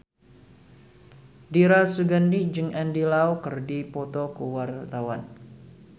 Dira Sugandi jeung Andy Lau keur dipoto ku wartawan